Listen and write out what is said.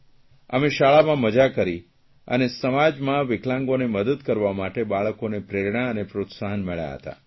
અમે શાળામાં મજા કરી અને સમાજમાં વિકલાંગોને મદદ કરવા માટે બાળકોને પ્રેરણા અને પ્રોત્સાહન મળ્યાં હતાં